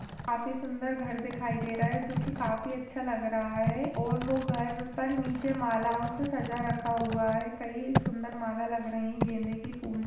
काफी सुंदर घर दिखाई दे रहा है जो की काफी अच्छा लग रहा है और वह घर पर नीचे मालाओं से सजा रखा हुआ है कहीं सुंदर माला लग रही है गेंदे की फूल--